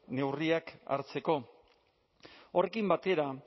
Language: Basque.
neurriak hartzeko horrekin batera